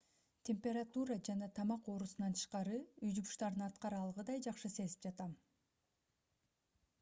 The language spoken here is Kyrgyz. температура жана тамак оорусунан тышкары үй жумуштарын аткара алгыдай жакшы сезип жатам